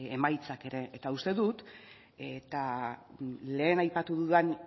emaitzak ere eta uste dut eta lehen aipatu dudan